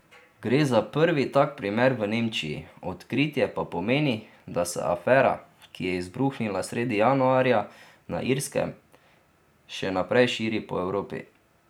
Gre za prvi tak primer v Nemčiji, odkritje pa pomeni, da se afera, ki je izbruhnila sredi januarja na Irskem, še naprej širi po Evropi.